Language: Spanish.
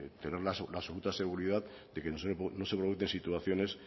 tener la absoluta de seguridad de que no se vuelvan a dar situaciones